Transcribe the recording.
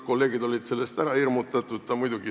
Kolleegid olid sellest kõigest ära hirmutatud.